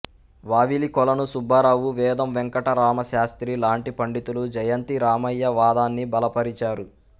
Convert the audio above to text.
వావిలికొలను సుబ్బారావు వేదం వేంకటరాయ శాస్త్రి లాంటి పండితులు జయంతి రామయ్య వాదాన్ని బలపరిచారు